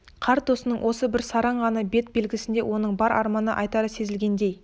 қарт досының осы бір сараң ғана бет белгісінде оның бар арманы айтары сезілгендей